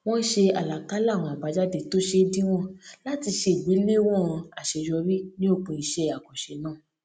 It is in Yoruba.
wón ṣe àlàkalẹ àwọn àbájáde tó ṣeé díwòn láti ṣe ìgbèléwọn àṣeyọrí ní òpin iṣẹ àkànṣe náà